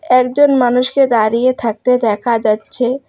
একজন মানুষকে দাঁড়িয়ে থাকতে দেখা যাচ্ছে।